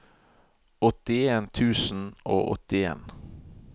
åttien tusen og åttien